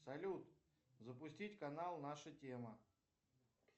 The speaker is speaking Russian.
салют запустить канал наша тема